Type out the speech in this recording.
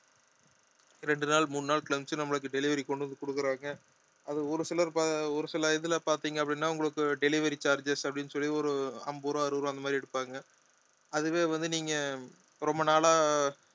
ரெண்டு நாள் மூணு நாள் கழிச்சு நம்மளுக்கு delivery கொண்டு வந்து கொடுக்குறாங்க அது ஒரு சிலர் பா~ ஒரு சில இதுல பார்த்தீங்க அப்படின்னா உங்களுக்கு delivery charges அப்படின்னு சொல்லி ஒரு ஐம்பது ரூபாய் அறுபது ரூபாய் அந்த மாதிரி எடுப்பாங்க அதுவே வந்து நீங்க ரொம்ப நாளா